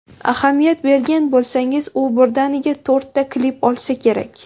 Ahamiyat bergan bo‘lsangiz, u birdaniga to‘rtta klip olsa kerak.